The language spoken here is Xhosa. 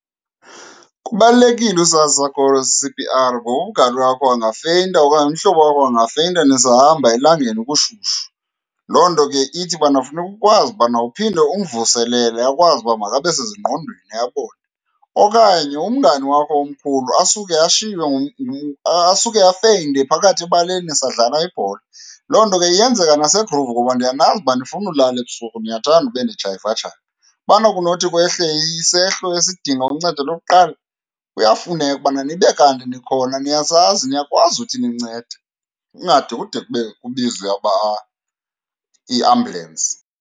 Kubalulekile usazi isakhono seC_P_R ngoba umngani wakho angafeyinta okanye umhlobo wakho angafeyinta nisahamba elangeni kushushu. Loo nto ke ithi ubana funeka ukwazi ubana uphinde umvuselele akwazi uba makabe sezingqondweni abone. Okanye umngani wakho omkhulu asuke ashiywe , asuke afeyinte phakathi ebaleni nisadlala ibhola. Loo nto ke iyenzeka nase-groove ngoba ndiyanazi uba anifuni ulala ebusuku, niyathanda ube nijayivajayiva. Ubana kunothi kwehle isehlo esidinga uncedo lokuqala, kuyafuneka ubana nibe kanti nikhona niyasazi, niyakwazi ukuthi nincede, kungade kude kube kubizwe iambulensi.